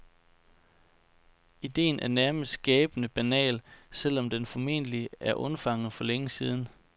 Idéen er nærmest gabende banal, selv om den formentlig er undfanget for længe siden.